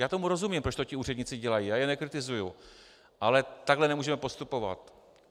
Já tomu rozumím, proč to ti úředníci dělají, já je nekritizuji, ale takhle nemůžeme postupovat.